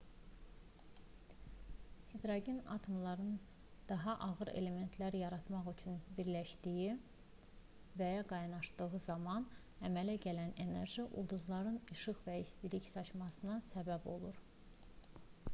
hidrogen atomları daha ağır elementlər yaratmaq üçün birləşdiyi və ya qaynaşdığı zaman əmələ gələn enerji ulduzların işıq və istilik saçmasına səbəb olur